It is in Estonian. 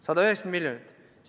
190 miljonit!